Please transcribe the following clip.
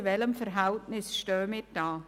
In welchem Verhältnis stehen wir da?